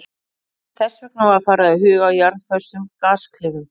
Þess vegna var farið að huga að jarðföstum gasklefum.